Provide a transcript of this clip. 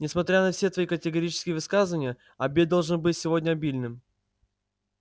несмотря на все твои категорические высказывания обед должен быть сегодня обильным